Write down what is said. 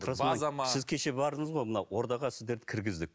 сіз кеше бардыңыз ғой мынау ордаға сіздерді кіргіздік